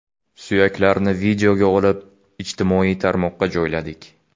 Suyaklarni videoga olib, ijtimoiy tarmoqqa joyladik.